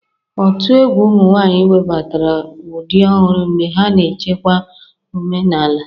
Otu egwu ụmụ nwanyị webatara ụdị ọhụrụ mgbe ha na-echekwa omenala.